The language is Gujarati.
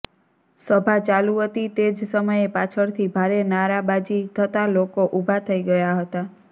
સભા ચાલુ હતી તે જ સમયે પાછળથી ભારે નારાબાજી થતા લોકો ઊભા થઇ ગયા હતા